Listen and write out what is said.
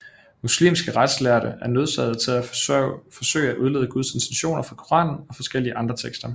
Muslimske retslærde er nødsaget til at forsøge at udlede Guds intentioner fra Koranen og forskellige andre tekster